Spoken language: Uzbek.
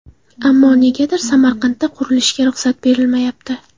Ammo negadir Samarqandda qurilishga ruxsat berilmayapti.